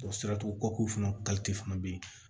O siratugu kɔkɔ fana fana bɛ yen